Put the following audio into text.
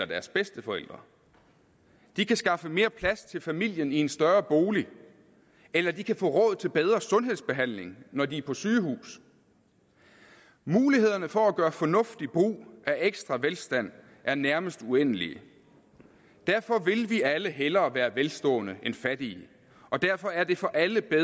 deres bedsteforældre de kan skaffe mere plads til familien i en større bolig eller de kan få råd til bedre sundhedsbehandling når de er på sygehus mulighederne for at gøre fornuftig brug af ekstra velstand er nærmest uendelige og derfor vil vi alle hellere være velstående end fattige og derfor er det for alle bedre